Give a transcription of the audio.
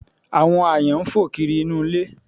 Àwọn aáyán ń fò kiri inú ilé